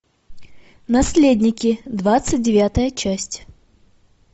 наследники двадцать девятая часть